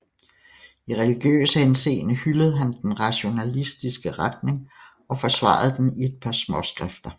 I religiøs henseende hyldede han den rationalistiske retning og forsvarede den i et par småskrifter